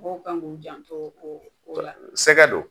Mɔgɔw kan k'u janto o la, Sɛgɛ don.